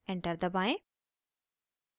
enter दबाएं